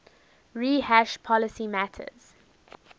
rehash policy matters